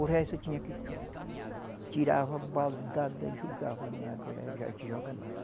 O resto tinha que. Tirava, baldada, jogava na água e. A gente joga na água.